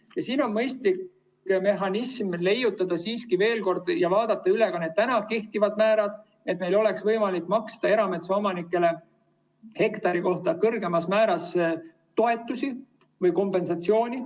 Siin on siiski vaja mõistlik mehhanism leida ja vaadata üle ka kehtivad määrad, et meil oleks võimalik maksta erametsaomanikele hektari kohta kõrgemas määras toetusi või kompensatsiooni.